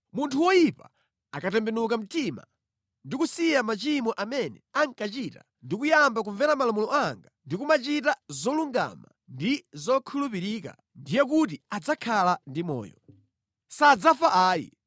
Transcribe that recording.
“ ‘Munthu woyipa akatembenuka mtima ndi kusiya machimo amene ankachita ndi kuyamba kumvera malamulo anga ndi kumachita zolungama ndi zokhulupirika, ndiye kuti adzakhala ndi moyo. Sadzafa ayi.